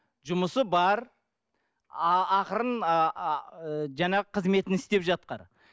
жұмысы бар ақырын жаңағы қызметін істеп жатқан